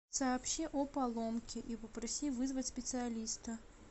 сообщи о поломке и попроси вызвать специалиста